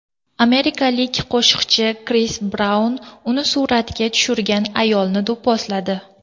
Amerikalik qo‘shiqchi Kris Braun uni suratga tushirgan ayolni do‘pposladi.